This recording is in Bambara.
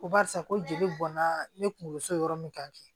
Ko barisa ko jeli bɔnna ne kunkolo yɔrɔ min ka kɛ